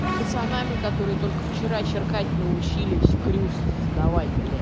пацанами которые только вчера чиркать научились крюкс здавай бля